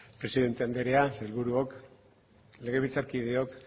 presidente andrea sailburuok legebiltzarkideok